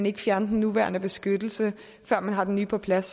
ikke fjerne den nuværende beskyttelse før man har den nye på plads